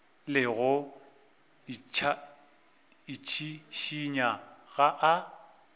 le go itšhišinya ga a